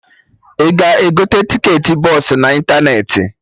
Ị ga-egote tiketị bọsụ na ịntanetị